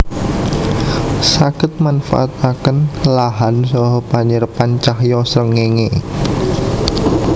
Saged manfaataken lahan saha panyerepan cahya srengéngé